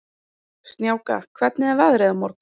Snjáka, hvernig er veðrið á morgun?